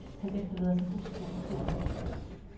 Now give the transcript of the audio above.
Han efterlader sig hustru og to børn.